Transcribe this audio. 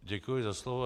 Děkuji za slovo.